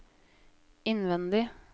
innvendig